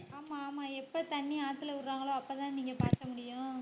ஆமா ஆமா எப்ப தண்ணி ஆத்தில விடுறாங்களோ அப்பதான் நீங்க பாய்ச்ச முடியும்.